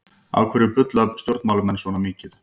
Af hverju bulla stjórnmálamenn svona mikið?